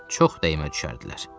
Çox dəymə düşərdilər.